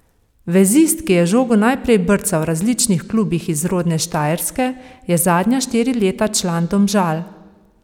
Vezist, ki je žogo najprej brcal v različnih klubih iz rodne Štajerske, je zadnja štiri leta član Domžal.